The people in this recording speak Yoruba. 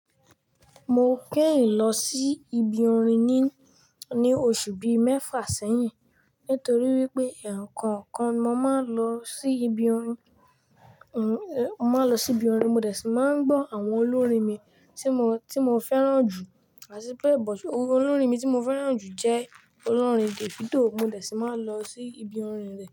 Mo kein lọ sí ibi orin ní, ní oṣù bí i mẹ́fà sẹ́yìn nítorí wípé ẹ̀ẹ̀kookan ni mo máa ń lọ sí ibi orin mo máa ń lọ sí ibi orin mo dẹ̀ sì máa ń gbọ́ àwọn olórin mi tí mo, tí mo fẹ́ràn jù àtìpẹ́ bút. Olórin mi tí mo fẹ́ràn jù jẹ́ olórin Davido. Mo dẹ̀ sì máa ń lọ sí ibi orin rẹ̀.